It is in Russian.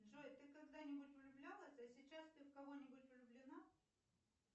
джой ты когда нибудь влюблялась а сейчас ты в кого нибудь влюблена